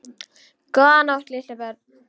Góða nótt litlu börn.